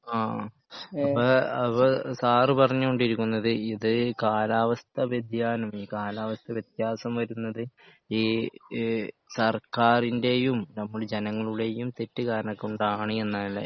ആ അപ്പൊ അപ്പോ സാറ് പറഞ്ഞു കൊണ്ടിരിക്കുന്നത് ഇത് കാലാവസ്ഥ വ്യതിയാനം കാലാവസ്ഥ വ്യത്യാസം വരുന്നത് ഈ ഈ സർക്കാരിൻ്റെയും നമ്മള് ജനങ്ങളുടെയും തെറ്റ് കാരണം കൊണ്ടാണ് എന്നാലേ